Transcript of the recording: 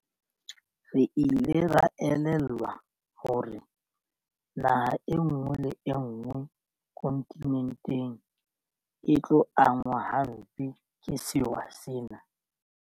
Re ile ra elellwa hore naha enngwe le enngwe kontinenteng e tlo angwa hampe ke sewa sena.